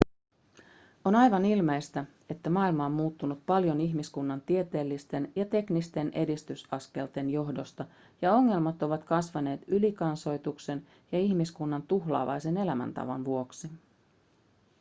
on aivan ilmeistä että maailma on muuttunut paljon ihmiskunnan tieteellisten ja teknisten edistysaskelten johdosta ja ongelmat ovat kasvaneet ylikansoituksen ja ihmiskunnan tuhlaavaisen elämäntavan vuoksi